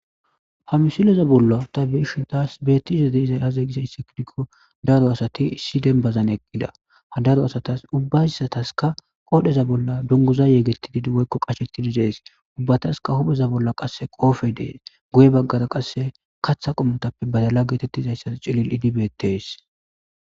ha misileza bolla ta be'ishen taas beettiza deeiza yaze gisa issikdiko daro asati issi dembazan eqqida ha daro asatas ubbaisataska qoodheza bolla dunguzayeegettididi woykko qashetididees ubbataska hupheza bolla qasse qoofe dees goye baggara qasse katha qommotappe badala geetettizayssas cillil idibeettes